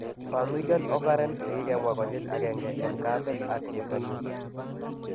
Familial occurrence kikemwa konyil agenge, en kaamet ak cheptonyin.